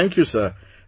I thank you sir